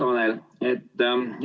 Hea Tanel!